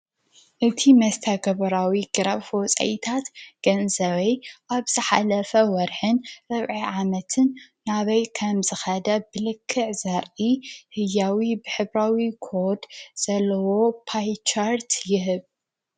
እቲ መስተገበራዊ ግራፍ ወፃኢታት ገንዘበይ ኣብ ዝሓለፈ ወርሕን ርብዒ ዓመትን ናበይ ከም ዝከደ ብልክዕ ዘርኢ ህያዊ ብሕብራዊ ኮድ ዘለዎ ፓይቸርት ይህብ።